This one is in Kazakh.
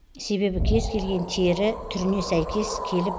себебі кез келген тері түріне сейкес келіп